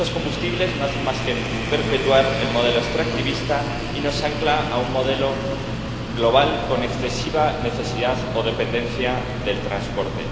Estos combustibles no hacen más que perpetuar el modelo extractivista y nos anclan a un modelo global con excesiva necesidad o dependencia del transporte.